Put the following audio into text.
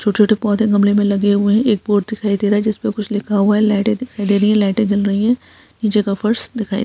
छोटे-छोटे पोधे गमले में लगे हुए हैं एक बोर्ड दिखाई दे रहा है जिसपे कुछ लिखा हुआ है लाइटे दिखाई दे रहा है लाइटे जल रही है नीचे का फ़र्श दिखाई --